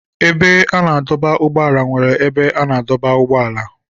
Ebe a na-adọba ụgbọala nwere ebe a na-adọba ụgbọala.